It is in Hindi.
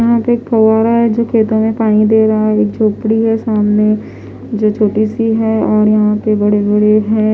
यहां पे एक फव्वारा है जो खेतों में पानी दे रहा है झोपड़ी है सामने जो छोटी सी है और यहां पे बड़े बड़े है।